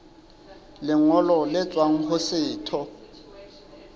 lengolo le tswang ho setho